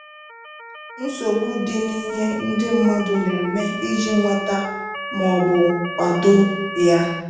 Nsogbu dị n'ihe ndị mmadụ na-eme iji nweta - ma ọ bụ kwado - ya